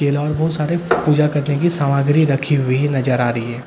और बहुत सारे पूजा करने की सामग्री रखी हुई नजर आ रही है।